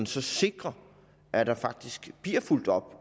så sikre at der faktisk bliver fulgt op